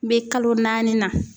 N be kalo naani na.